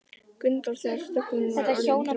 Gunnþór þegar þögnin var orðin þrúgandi.